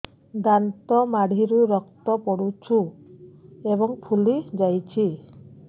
ଦାନ୍ତ ମାଢ଼ିରୁ ରକ୍ତ ପଡୁଛୁ ଏବଂ ଫୁଲି ଯାଇଛି